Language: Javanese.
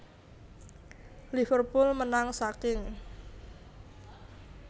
Liverpool menang saking